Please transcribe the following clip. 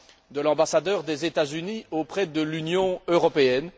de l'ambassadeur des États Unis auprès de l'Union européenne.